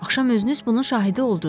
Axşam özünüz bunun şahidi olduz.